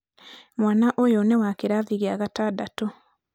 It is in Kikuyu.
mwana ũyũ nĩ wa kĩrathi gĩa gatandatũ